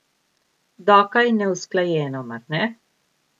Dokaj neusklajeno, mar ne?